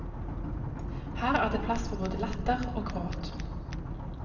Her er det plass for både latter og gråt.